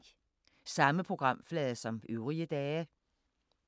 Samme programflade som øvrige dage